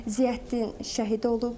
Ziyəddin şəhid olub.